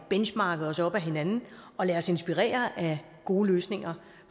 at benchmarke os op ad hinanden og lade os inspirere af gode løsninger